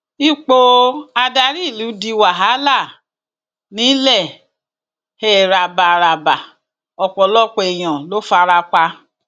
ipò adarí ìlú di wàhálà nilhéhàbárábà ọpọlọpọ èèyàn ló fara pa